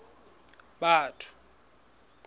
batho